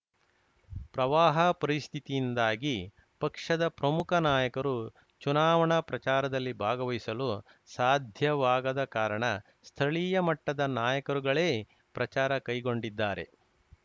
ಪ್ರವಾಹ ಪರಿಸ್ಥಿತಿಯಿಂದಾಗಿ ಪಕ್ಷದ ಪ್ರಮುಖ ನಾಯಕರು ಚುನಾವಣಾ ಪ್ರಚಾರದಲ್ಲಿ ಭಾಗವಹಿಸಲು ಸಾಧ್ಯವಾಗದ ಕಾರಣ ಸ್ಥಳೀಯ ಮಟ್ಟದ ನಾಯಕರುಗಳೇ ಪ್ರಚಾರ ಕೈಗೊಂಡಿದ್ದಾರೆ